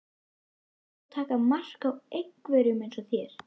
Myndir þú taka mark á einhverjum eins og þér?